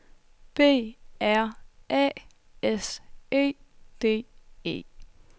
B R A S E D E